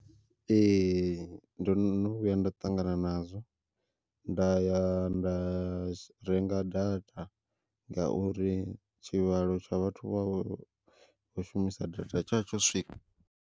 Ee ndo no vhuya nda ṱangana nazwo nda ya nda renga data, ngauri tshivhalo tsha vhathu vhe vha kho shumisa data tsha tsho swika.